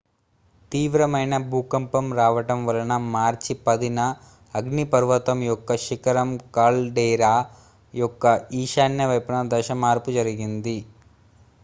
తీవ్రమైన భూకంపం రావటం వలన మార్చి 10న అగ్నిపర్వతం యొక్క శిఖరం కాల్డేరా యొక్క ఈశాన్య వైపున దశ మార్పు జరిగింది